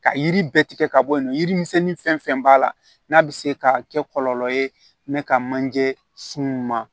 Ka yiri bɛɛ tigɛ ka bɔ yen nɔ yirimisɛnnin fɛn b'a la n'a bɛ se ka kɛ kɔlɔlɔ ye ka manje sun ma